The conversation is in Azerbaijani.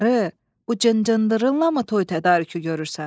Qarı, bu cıncıdırınlamı toy tədarükü görürsən?